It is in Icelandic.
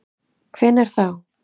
Hvenær þá?